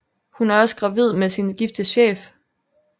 Hun er også gravid med sin gifte chef